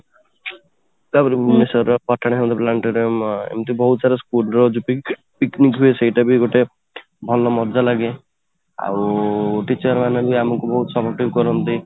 ତାପରେ ଭୁବନେଶ୍ୱର ର ପଠାଣି ସାମନ୍ତ planetarium ଏମିତି ବହୁତ ସାରା school ର ଯୋଉ picnic ହୁଏ ସେଇଟା ବି ଗୋଟେ ଭଲ ମଜା ଲାଗେ ଆଉ teacher ମାନେ ବି ଆମକୁ ବହୁତ support କରନ୍ତି